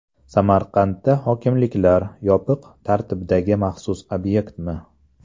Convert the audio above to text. Samarqandda hokimliklar yopiq tartibdagi maxsus obyektmi?.